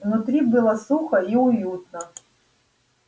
внутри было сухо и уютно